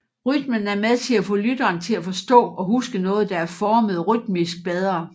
Rytmen er med til at få lytteren til at forstå og huske noget der er formet rytmisk bedre